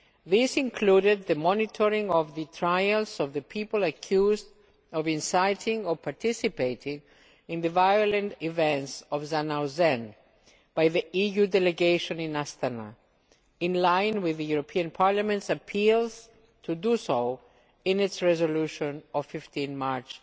This included the monitoring of the trials of the people accused of inciting or participating in the violent events of Zhanaozen, by the EU Delegation in Astana, in line with the Parliament's appeals to do so in its resolution of 15 March